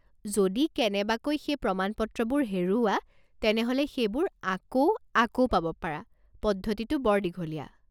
যদি কেনেবকৈ সেই প্ৰমান পত্ৰবোৰ হেৰুওৱা তেনেহ'লে সেইবোৰ আকৌ আকৌ পাব পৰা পদ্ধতিটো বৰ দীঘলীয়া।